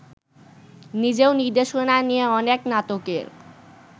নিজেও নির্দেশনা নিয়ে অনেক নাটকের